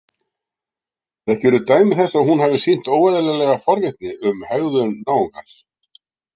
Þekkirðu dæmi þess að hún hafi sýnt óeðlilega forvitni um hegðun náungans?